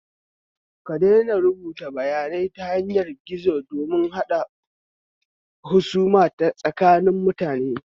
Ka daina rubuta bayanai ta yanar gizo don haɗa husuma tsakanin mutane